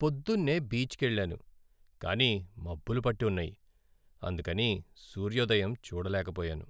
పొద్దున్నే బీచ్కెళ్ళాను, కానీ మబ్బులు పట్టి ఉన్నాయి, అందుకని సూర్యోదయం చూడలేకపోయాను.